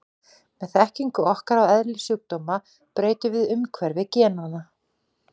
Með þekkingu okkar á eðli sjúkdóma breytum við umhverfi genanna.